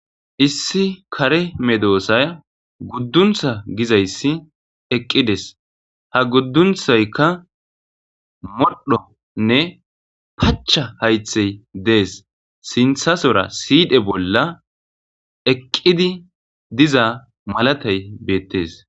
issi kare medoosay gudduntha gizayssi eqqides ha guddunthaykka moddhonne pacha haythey dees sinthasora siidhe bolla eqqidi diza malatay beettes